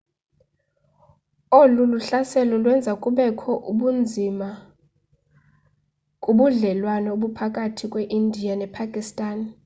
olu hlaselo lwenza kubekho ubunzima kubudlelwane obukhathi kweindiya nepakistan